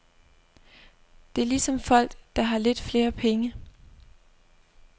Det er ligesom folk, der har lidt flere penge.